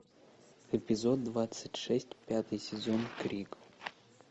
эпизод двадцать шесть пятый сезон крик